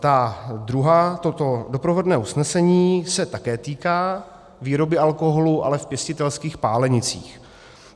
Ta druhá, toto doprovodné usnesení se také týká výroby alkoholu, ale v pěstitelských pálenicích.